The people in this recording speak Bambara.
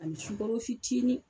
A sukɔrɔ fitinin